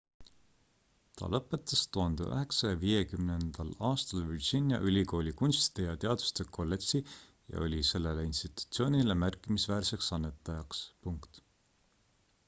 ta lõpetas 1950 aastal virginia ülikooli kunstide ja teaduste kolledži ja oli sellele institutsioonile märkimisväärseks annetajaks